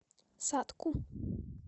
сатку